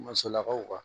Masalakaw kan